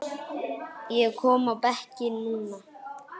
og kominn á bekkinn núna?